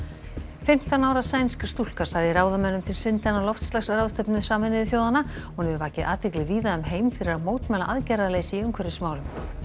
fimmtán ára sænsk stúlka sagði ráðamönnum til syndanna á loftslagsráðstefnu Sameinuðu þjóðanna hún hefur vakið athygli víða um heim fyrir að mótmæla aðgerðarleysi í umhverfismálum